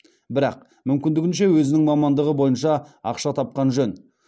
бірақ мүмкіндігінше өзінің мамандығы бойынша ақша тапқан жөн